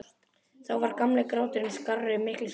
Þá var gamli gráturinn skárri- miklu skárri.